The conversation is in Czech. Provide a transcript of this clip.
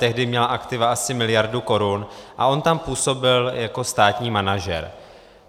Tehdy měla aktiva asi miliardu korun a on tam působil jako státní manažer.